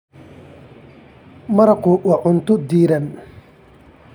Maraqku waa cunto diirran.